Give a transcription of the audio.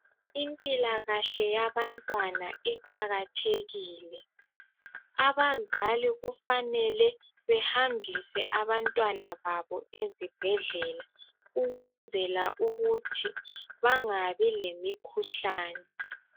Impilakahle yabantwana iqakathekile ,abazali kufanele behambise abantwana babo ezibhedlela ukwenzela ukuthi bangabi lemikhuhlane.